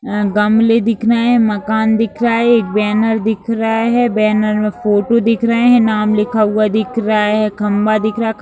गमले दिख रहे हैं मकान दिख रहा है एक बैनर दिख रहा है बैनर में फोटो दिख रहे हैं नाम लिखा हुआ दिख रहा है खंबा दिख रहा है।